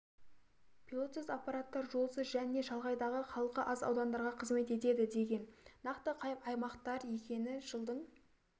пилотсыз аппараттар жолсыз және шалғайдағы халқы аз аудандарға қызмет етедідеген нақты қай аймақтар екені жылдың